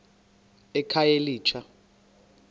ekhayelitsha